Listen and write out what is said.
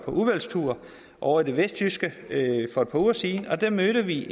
udvalgstur ovre i det vestjyske for et par uger siden og der mødte vi